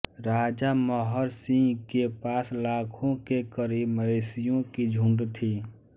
राजा महर सिंह के पास लाख के करीब मवेशियों की झुंड थी